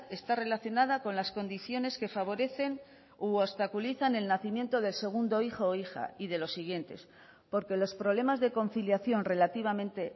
está relacionada con las condiciones que favorecen u obstaculizan el nacimiento del segundo hijo o hija y de los siguientes porque los problemas de conciliación relativamente